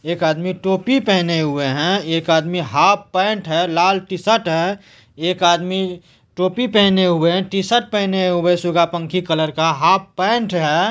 एक आदमी टोपी पहने हुए हैं एक आदमी हाफ पैंट है लाल टीशर्ट है एक आदमी टोपी पहने हुए हैं टीशर्ट पहने हुए सुगा पंखी कलर का हाफ पैंट है।